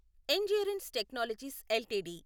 endurance technologies LTD